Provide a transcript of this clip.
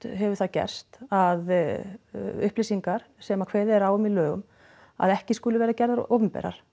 hefur það gerst að upplýsingar sem kveðið er á um í lögum að ekki skuli vera gerðar opinberar